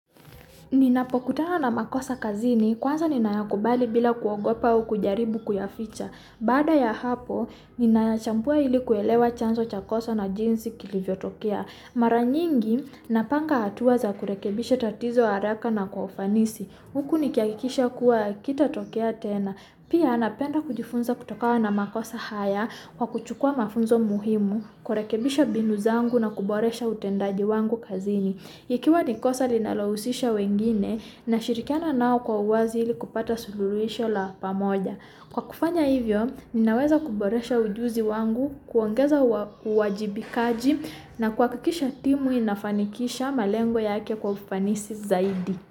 Ninapokutana na makosa kazini, kwanza ninayakubali bila kuogopa au kujaribu kuyaficha. Baada ya hapo, ninachambua ili kuelewa chanzo cha kosa na jinsi kilivyotokea. Mara nyingi napanga hatua za kurekebisha tatizo haraka na kwa ufanisi. Huku nikihakikisha kuwa hakitatokea tena. Pia napenda kujifunza kutokana na makosa haya, kwa kuchukua mafunzo muhimu, kurekebisha mbinu zangu na kuboresha utendaji wangu kazini. Ikiwa ni kosa linalohusisha wengine nashirikiana nao kwa uwazi ili kupata sululuhisho la pamoja. Kwa kufanya hivyo, ninaweza kuboresha ujuzi wangu, kuongeza uwajibikaji, na kuhakikisha timu inafanikisha malengo yake kwa ufanisi zaidi.